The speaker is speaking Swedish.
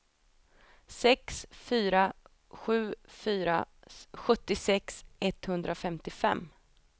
sex fyra sju fyra sjuttiosex etthundrafemtiofem